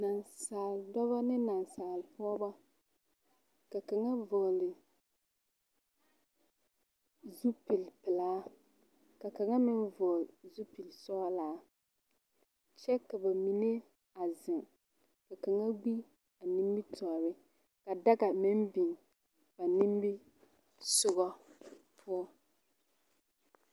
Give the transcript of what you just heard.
Naasaaledɔbɔ ane naasaalepɔɡebɔ ka kaŋa vɔɔle zupilipelaa ka kaŋa meŋ vɔɔl zupilisɔɡelaa kyɛ ka ba mine a zeŋ ka kaŋa ɡbi a nimitɔɔre ka daɡa meŋ biŋ ba nimisoɡa poɔ.